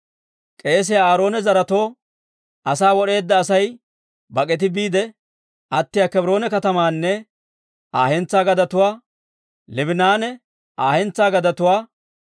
K'eesiyaa Aaroona zaretoo asaa wod'eedda Asay bak'ati biide attiyaa Kebroone katamaanne Aa hentsaa gadetuwaa, Liibinanne Aa hentsaa gadetuwaa,